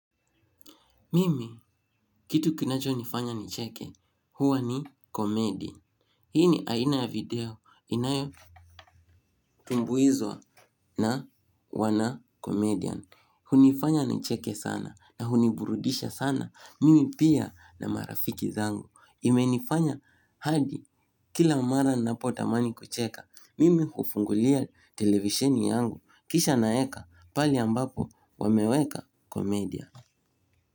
Mimi, kitu kinachonifanya nicheke, huwa ni komedi. Hii ni aina ya video, inayotumbuizwa na wanakomedian. Hunifanya nicheke sana na huniburudisha sana, mimi pia na marafiki zangu. Imenifanya hadi, kila mara ninapotamani kucheka, mimi hufungulia televisheni yangu, kisha naeka pahali ambapo wameweka komedia.